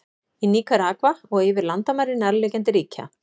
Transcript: Í Níkaragva og yfir landamæri nærliggjandi ríkja.